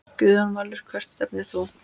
Guðjón Valur Hvert stefnir þú?